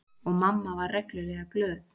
Og mamma var reglulega glöð.